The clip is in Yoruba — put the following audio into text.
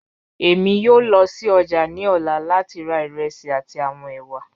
Emi yoo lọ si ọja ni ọla lati ra iresi ati awọn ewa.